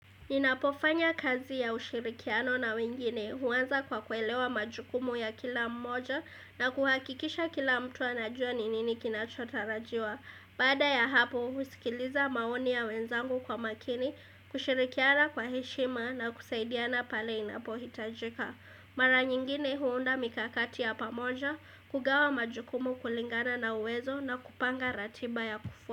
Ninapofanya kazi ya ushirikiano na wengine huanza kwa kuelewa majukumu ya kila mmoja na kuhakikisha kila mtu anajua ninini kinachotarajiwa. Baada ya hapo, usikiliza maoni ya wenzangu kwa makini, kushirikiana kwa heshima na kusaidiana pale inapohitajika. Mara nyingine huunda mikakati ya pamoja, kugawa majukumu kulingana na uwezo na kupanga ratiba ya kufu.